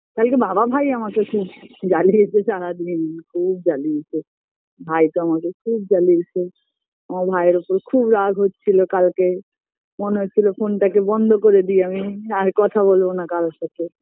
কালকে বাবা ভাই আমাকে খুব জ্বালিয়েছে সারাদিন খুব জ্বালিয়েছে ভাইতো আমাকে খুব জ্বালিয়েছে আমার ভাইয়ের ওপর খুব রাগ হচ্ছিল কালকে মনে হচ্ছিল phone -টাকে বন্ধ করে দেই আমি আর কথা বলবোনা কারোর সাথে